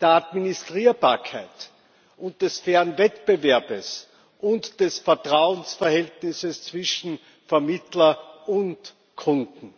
der Administrierbarkeit und des fairen Wettbewerbs und des Vertrauensverhältnisses zwischen Vermittler und Kunden.